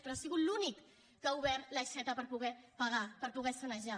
però ha sigut l’únic que ha obert l’aixeta per poder pagar per poder sanejar